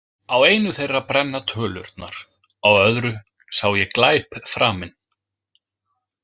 Á einu þeirra brenna tölurnar, á öðru sá ég glæp framinn.